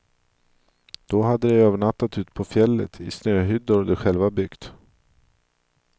Då hade de övernattat ute på fjället, i snöhyddor de själva byggt.